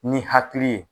Ni hakili ye